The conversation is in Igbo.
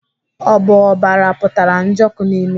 Ọ bụ ọbara pụtara Njoku n'imi?